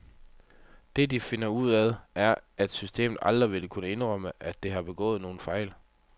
Det, de finder ud af, er, at systemet aldrig vil kunne indrømme, at det har begået nogen fejl.